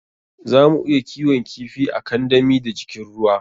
Zamu iya kiwon kifi a kandami da jikin ruwa.